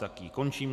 Tak ji končím.